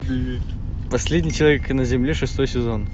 последний человек на земле шестой сезон